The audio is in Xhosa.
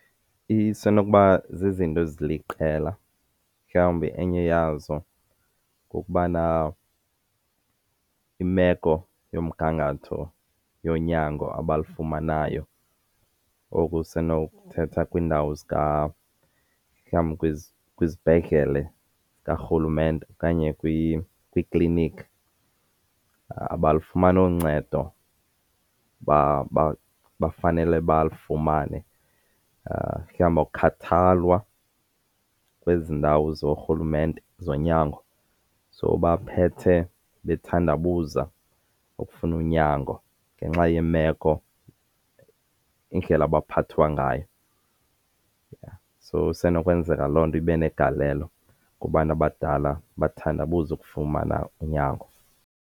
Isenokuba zizinto eziliqela. Mhlawumbi enye yazo kukubana imeko yomgangatho yonyango abalufumanayo okusenokuthetha kwiindawo mhlawumbi kwizibhedlele zikarhulumente okanye kwiiklinikhi abalufumani uncedo abafanele balufumane. Mhlawumbi akukhathalwa kwezi ndawo zorhulumente zonyango so baphethe bethandabuze ukufuna unyango ngenxa yemeko, indlela abaphathwa ngayo. So isenokwenzeka loo nto ibenegalelo kubantu abadala bathandabuze ukufumana unyango.